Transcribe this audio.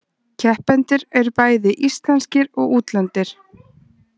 Keppendur eru bæði íslenskir og útlendir